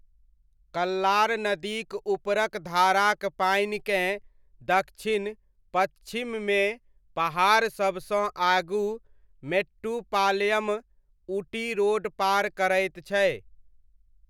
कल्लार नदीक ऊपरक धाराक पानिकेँ दक्षिण पच्छिममे पहाड़सबसँ आगू मेट्टुपालयम ऊटी रोड पार करैत छै।